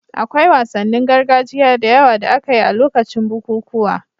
Akwai wasannin gargajiya da yawa da aka yi a lokacin bukukuwa